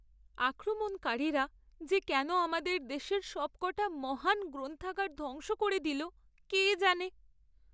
আক্রমণকারীরা যে কেন আমাদের দেশের সবকটা মহান গ্রন্থাগার ধ্বংস করে দিল কে জানে।